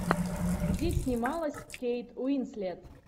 где снималась кейт уинслет